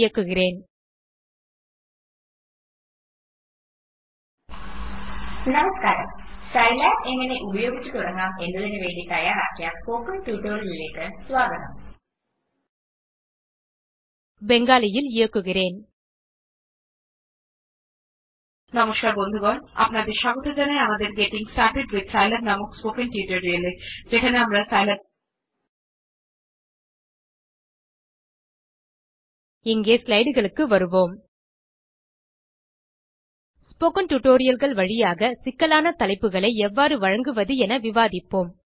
இங்கே slideகளுக்கு வருவோம் ஸ்போக்கன் tutorialகள் வழியாக சிக்கலான தலைப்புகளை எவ்வாறு வழங்குவது என விவாதிப்போம்